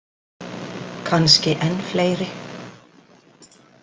Kannski enn fleiri.